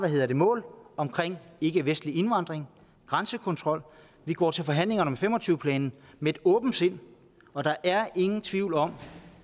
mål om ikkevestlig indvandring og grænsekontrol vi går til forhandlingerne fem og tyve plan med et åbent sind og der er ingen tvivl om